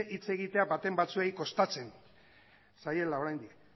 hitz egitea baten batzuei kostatzen zaiela oraindik